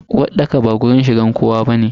Uwarɗaka ba wajen shigar kowa bane.